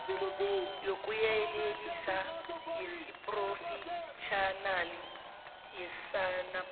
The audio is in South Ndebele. yokuyelelisa yesiphrofetjhinali yesacnasp